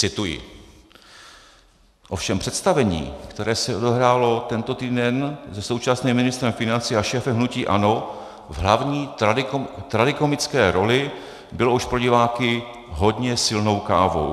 Cituji: "Ovšem představení, které se odehrálo tento týden se současným ministrem financí a šéfem hnutí ANO v hlavní tragikomické roli, bylo už pro diváky hodně silnou kávou.